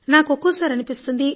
నాకు ఒక్కోసారి అనిపిస్తుంది